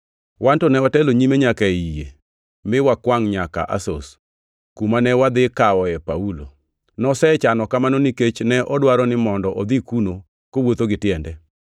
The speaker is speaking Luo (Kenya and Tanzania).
Wan to ne watelo nyime nyaka ei yie, mi wakwangʼ nyaka Asos, kuma ne wadhi kawoe Paulo. Nosechano kamano nikech ne odwaro ni mondo odhi kuno kowuotho gi tiende.